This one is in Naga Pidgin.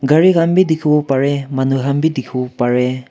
gari han bi dikhiwo pare manu han wi dikhiwo parwah.